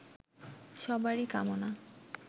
সবারই কামনা